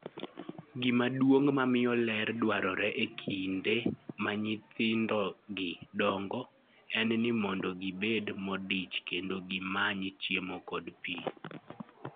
Gimaduong' mamiyo ler dwarore e kinde ma nyithindgi dongo, en ni mondo gibed modich kendo gimany chiemo kod pi.